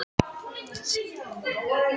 Ég hef aldrei notið þess svona vel.